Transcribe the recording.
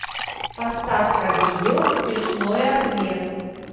поставь ка видео смешной размер